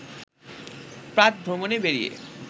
প্রাতঃভ্রমণে বেরিয়ে